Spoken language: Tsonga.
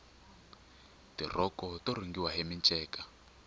tirhoko to rhungiwa hi minceka